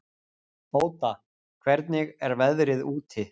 Óda, hvernig er veðrið úti?